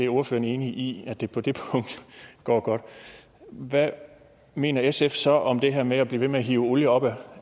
ordføreren er enig i at det på det punkt går godt hvad mener sf så om det her med at blive ved med at hive olie op